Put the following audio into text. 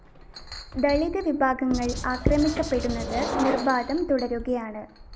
ദളിത് വിഭാഗങ്ങള്‍ ആക്രമിക്കപ്പെടുന്നത് നിര്‍ബാധം തുടരുകയാണ്